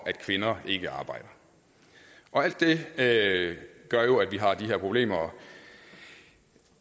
at kvinder ikke arbejder alt det gør jo at vi har de her problemer